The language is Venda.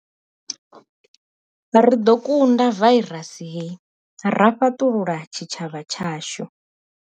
Ri ḓo kunda vairasi hei ra fhaṱulula tshitshavha tshashu.